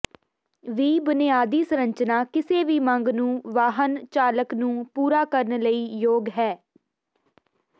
ਵੀ ਬੁਨਿਆਦੀ ਸੰਰਚਨਾ ਕਿਸੇ ਵੀ ਮੰਗ ਨੂੰ ਵਾਹਨ ਚਾਲਕ ਨੂੰ ਪੂਰਾ ਕਰਨ ਲਈ ਯੋਗ ਹੈ